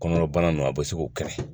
Kɔnɔnabana ninnu a bɛ se k'o kɛnɛ